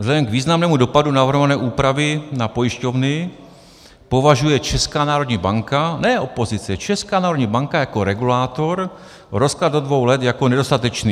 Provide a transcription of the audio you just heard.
Vzhledem k významnému dopadu navrhované úpravy na pojišťovny považuje Česká národní banka - ne opozice, Česká národní banka - jako regulátor rozklad do dvou let jako nedostatečný.